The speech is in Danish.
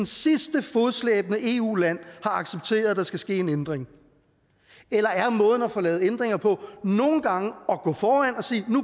sidste fodslæbende eu land har accepteret at der skal ske en ændring eller er måden at få lavet ændringer på nogle gange at gå foran og sige nu